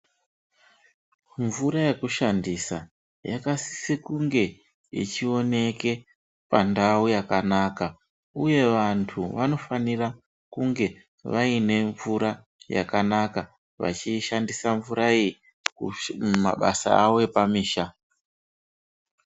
Mvura yekushandisa yakasise kunge ichioneke pandau yakanaka uye vantu vanofanira kunge vaine mvura yakanaka, vachiishandisa mvura iyi mumabasa awo epamisha.